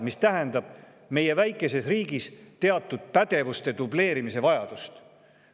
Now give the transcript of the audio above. Aga see tähendab meie väikeses riigis teatud pädevuste dubleerimise vajadust.